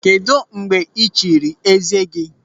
Kedụ mgbe ị chiri eze gị?